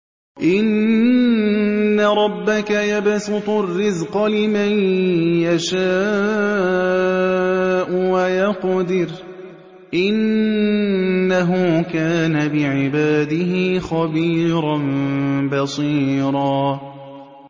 إِنَّ رَبَّكَ يَبْسُطُ الرِّزْقَ لِمَن يَشَاءُ وَيَقْدِرُ ۚ إِنَّهُ كَانَ بِعِبَادِهِ خَبِيرًا بَصِيرًا